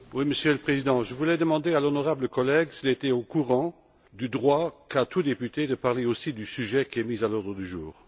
Monsieur le Président, je voulais demander à l'honorable collègue s'il était au courant du droit qu'a tout député de parler aussi du sujet qui est mis à l'ordre du jour.